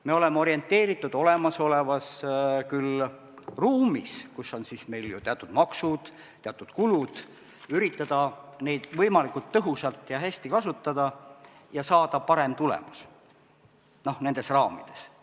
Me oleme küll orienteeritud sellele, et olemasolevas ruumis, kus on teatud maksud, teatud kulud, üritada neid võimalikult tõhusalt ja hästi kasutada ja saada parem tulemus nendes raamides.